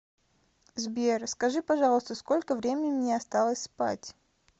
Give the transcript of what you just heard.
сбер скажи пожалуйста сколько времени мне осталось спать